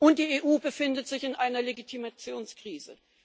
Und die EU befindet sich in einer Legitimationskrise.